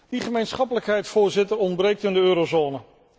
Die gemeenschappelijkheid, Voorzitter, ontbreekt in de eurozone.